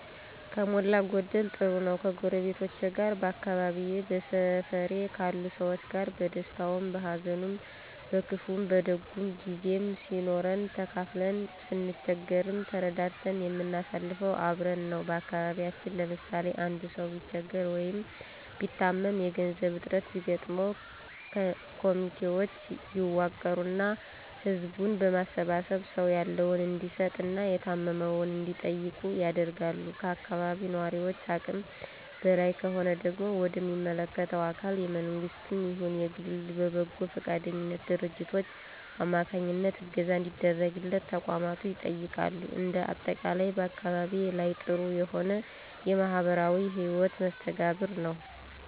ከሞላ ጎደል ጥሩ ነው። ከጎረቤቶቼ ጋር በአካባቢየ በሰፈሬ ካሉ ሰዎች ጋር በደስታውም በሀዘኑም በክፉም በደጉም ጊዜም ሲኖረን ተካፍለን ስንቸገርም ተረዳድተን የምናሳልፈው አብረን ነው። በአካባቢያችን ለምሳሌ፦ አንድ ሰው ቢቸገር ወይ ቢታመም የገንዘብ እጥረት ቢገጥመው ኮሚቴውች ይዋቀሩና ህዝቡን በማስተባበር ሰው ያለውን እንዲሰጥ እና የታመመውን እንዲጠይቁ ይደረጋል። ከአካባቢው ነዋሪውች አቅም በላይ ከሆነ ደግሞ ወደ ሚመለከታቸው አካላት የመንግስትም ይሁን የግል በበጎ ፈቃደኛ ድርጅቶች አማካኝነት እገዛ እንዲደረግለት ተቋማቱ ይጠየቃሉ። እንደ አጠቃላይ በአካባቢየ ላይ ጥሩ የሆነ የማህበራዊ ህይወት መስተጋብር ነው።